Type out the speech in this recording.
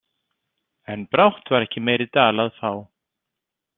En brátt var ekki meiri dal að fá.